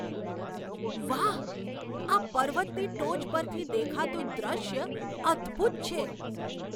વાહ! આ પર્વતની ટોચ પરથી દેખાતું દૃશ્ય અદ્ભુત છે!